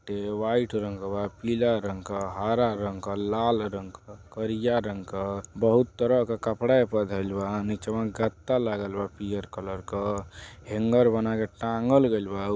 टे व्हाइट रंग क बापीला रंग क हरा रंग कलाल रंग क करिया रंग कबहुत तरह का कपड़ा एपे धइल बा निचवा गद्दा लागलबा पीयर कलर क हेंगर बना के टाँगल गइल बा।